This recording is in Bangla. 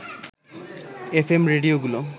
F M রেডিওগুলো